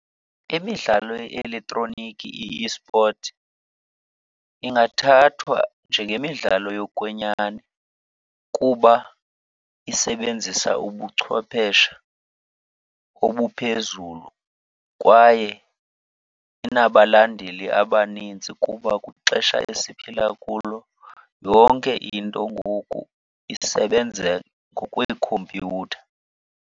Imidlalo ye-elektroniki, i-esport, ingathathwa njengemidlalo yokwenyani kuba isebenzisa ubuchwepheshe obuphezulu kwaye inabalandeli abanintsi. Kuba kwixesha esiphila kulo yonke into ngoku isebenza ngokweekhompyutha.